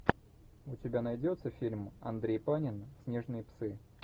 у тебя найдется фильм андрей панин снежные псы